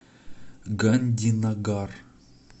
гандинагар